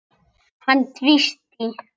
Hann tvísté.